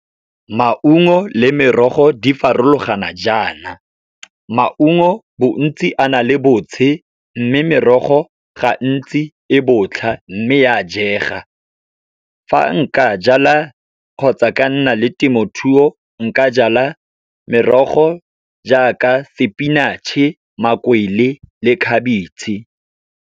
Maungo le merogo di farologana jaana, maungo bontsi a na le botshe, mme merogo gantsi e botlha, mme e a jega. Fa nka jala kgotsa ka nna le temothuo, nka jala merogo jaaka spinach-e, makwele le khabetšhe.